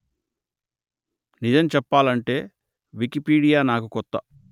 నిజం చెప్పాలంటే వికిపీడియా నాకు కొత్త